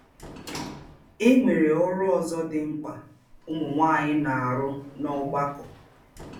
E nwere ọrụ ọzọ dị mkpa ụmụ nwaanyị na - arụ n’ọgbakọ.